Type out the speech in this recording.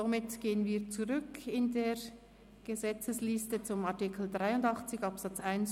Somit gehen wir zurück in der Gesetzesvorlage zu Artikel 83 Absatz 1